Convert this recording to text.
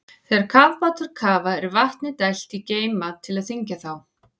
Þegar kafbátar kafa er vatni dælt í geyma til að þyngja þá.